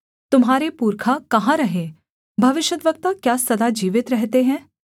तुम्हारे पुरखा कहाँ रहे भविष्यद्वक्ता क्या सदा जीवित रहते हैं